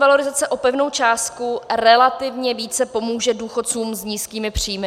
valorizace o pevnou částku relativně více pomůže důchodcům s nízkými příjmy.